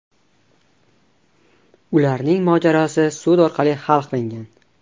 Ularning mojarosi sud orqali hal qilingan.